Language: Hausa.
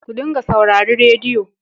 Ku dinga saurari rediyo.